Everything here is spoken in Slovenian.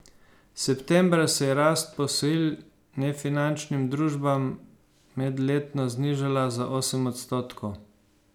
Septembra se je rast posojil nefinančnim družbam medletno znižala za osem odstotkov.